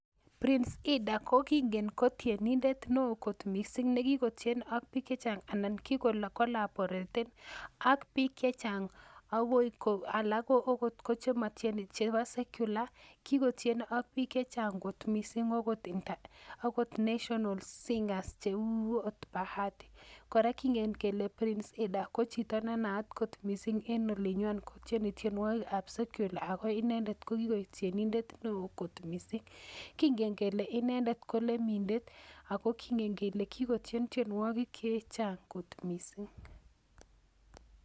Prince Hinda ko kingen ko tienindet ne oo kot mising ne kikotien ak piik che chang anan ki ko collaboreten ak piik che chang, akoi ko alak ko okot chematieni chebo secular, ki kotien ak piik che chang kot mising akot national singers cheu ot Bahati, kora kingen kele Prince Hindah ko chito nenaat kot mising en olinywan kotieni tienwogikab secular ako inendet ko kikoek tienindet ne oo kot mising, kingen kele inendet ko lemindet ako kingen kele kikotien tienwogik che chang kot mising.